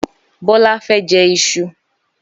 Bólá fẹ́ jẹ isu.